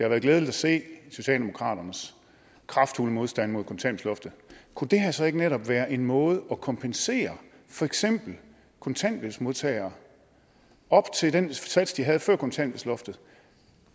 været glædeligt at se socialdemokraternes kraftfulde modstand mod kontanthjælpsloftet kunne det her så ikke netop været en måde at kompensere for eksempel kontanthjælpsmodtagere op til den sats de havde før kontanthjælpsloftet